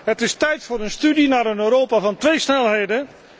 Het is tijd voor een studie naar een Europa van twee snelheden.